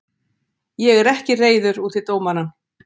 Ég er ekki reiður út í dómarann.